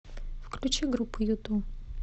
включи группу юту